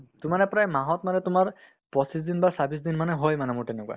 to মানে প্ৰায় মাহত মানে তোমাৰ পঁচিছ দিন বা ছাব্বিছ দিন মানে হয় মানে মোৰ তেনেকুৱা